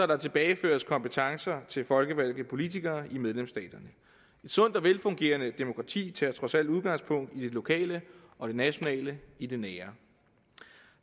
der tilbageføres kompetencer til folkevalgte politikere i medlemsstaterne et sundt og velfungerende demokrati tager trods alt udgangspunkt i det lokale og det nationale i det nære